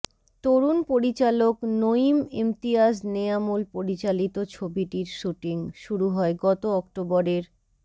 তরুণ পরিচালক নঈম ইমতিয়াজ নেয়ামুল পরিচালিত ছবিটির শুটিং শুরু হয় গত অক্টোবরের